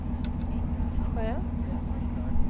sköts